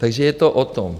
Takže je to o tom.